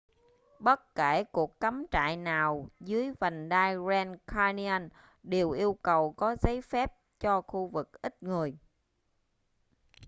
bất kể cuộc cắm trại nào dưới vành đai grand canyon đều yêu cầu có giấy phép cho khu vực ít người